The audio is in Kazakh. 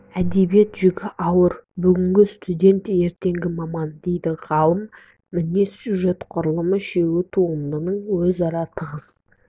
әдебиет жүгі ауыр бүгінгі студент ертеңгі маман дейді ғалым мінез сюжет құрылым үшеуі туындының өзара тығыз